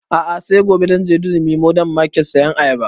A'a sai gobe zan je durumi modern market sayan ayaba